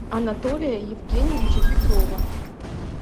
анатолия евгеньевича петрова